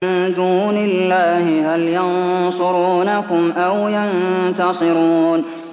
مِن دُونِ اللَّهِ هَلْ يَنصُرُونَكُمْ أَوْ يَنتَصِرُونَ